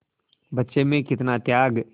बच्चे में कितना त्याग